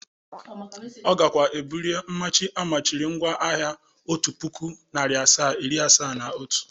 Ọ gakwa ebulie mmachi o machibụru ngwa ahia otu puku, nari asaa, iri asaa na Otu.